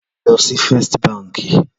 Lò si Fèstí bànkí